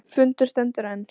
Fundur stendur enn